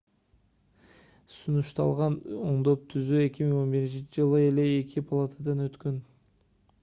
сунушталган оңдоп-түзөө 2011-жылы эле эки палатадан өткөн